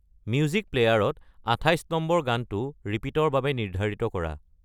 music প্লেয়াৰত আঠাইছ নম্বৰ গানটো ৰিপিট ৰ বাবে নিৰ্ধাৰিত কৰা